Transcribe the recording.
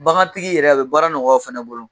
Bagantigi yɛrɛ a bɛ baara nɔgɔ o fana bolo